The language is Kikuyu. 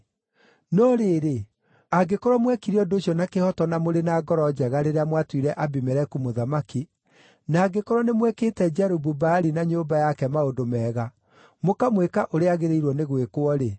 “No rĩrĩ, angĩkorwo mwekire ũndũ ũcio na kĩhooto, na mũrĩ na ngoro njega rĩrĩa mwatuire Abimeleku mũthamaki, na angĩkorwo nĩmwĩkĩte Jerubu-Baali na nyũmba yake maũndũ mega, mũkamwĩka ũrĩa agĩrĩirwo nĩ gwĩkwo-rĩ,